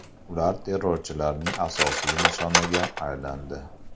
Ular terrorchilarning asosiy nishoniga aylandi.